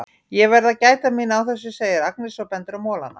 Ég verð að gæta mín á þessum, segir Agnes og bendir á molana.